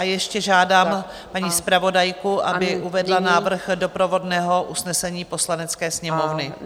A ještě žádám paní zpravodajku, aby uvedla návrh doprovodného usnesení Poslanecké sněmovny.